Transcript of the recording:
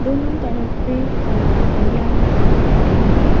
दोनों तरफ पेड़ और हरियाली दिखाई गए हैं।